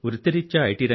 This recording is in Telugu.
వృత్తిరీత్యా ఐ